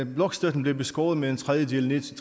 blokstøtten blev beskåret med en tredjedel til